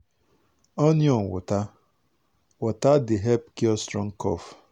onion water water dey help cure strong cough.